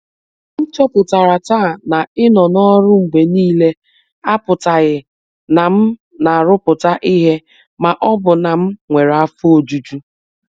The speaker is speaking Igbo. M chọpụtara taa na ịnọ n’ọrụ mgbe niile apụtaghị na m na-arụpụta ihe ma ọ bụ na m nwere afọ ojuju.